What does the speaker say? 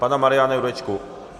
Pana Mariana Jurečku.